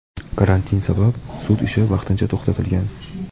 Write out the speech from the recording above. Karantin sabab sud ishi vaqtincha to‘xtatilgan.